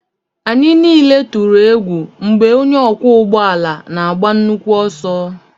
Anyị niile tụrụ egwu mgbe onye ọkwọ ụgbọala na-agba nnukwu ọsọ